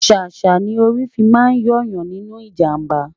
sàsá ní orí fí má n yo Yan níbí ìjàmbá